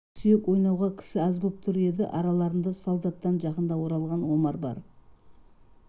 ақ сүйек ойнауға кісі аз болып тұр еді араларында солдаттан жақында оралған омар бар